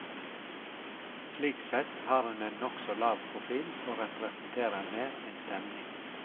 Slik sett har hun en nokså lav profil og representerer mer en stemning.